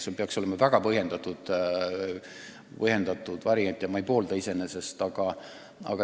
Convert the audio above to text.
See peaks olema väga põhjendatud variant ja iseenesest ma seda ei poolda.